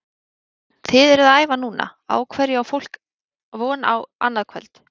Kolbeinn, þið eruð að æfa núna, á hverju á fólk von á annað kvöld?